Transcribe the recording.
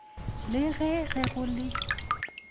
le ge ge go le